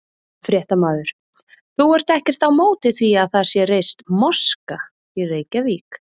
Fréttamaður: Þú ert ekkert á móti því að það sé reist moska í Reykjavík?